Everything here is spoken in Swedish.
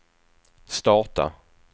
starta